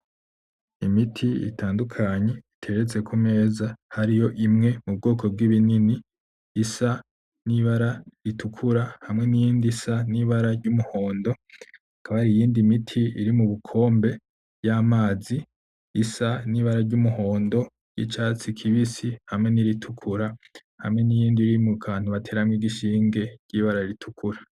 imiti itandukanye iteretse k' umeza hariyo imwe iri mubwoko bw' ibinini isa nibara ritukura hamwe niyindi isa nibara ry' umuhondo hakaba hariyindi miti iri mubukombe bw' amazi isa n' ibara ryumuhondo n' icatsi kibisi hamwe niri tukura hamwe niyindi iri mukantu bateramwo igishinge ry' ibara r' itukura.